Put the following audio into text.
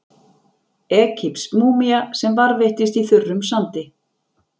Egypsk múmía sem varðveittist í þurrum sandi.